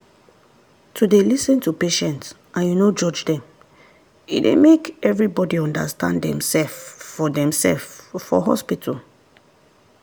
to dey lis ten to patient and you no judge them e dey make everybody understand demsef for demsef for hospital.